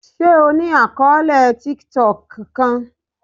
Ṣe o ni akọọlẹ tiktok kan?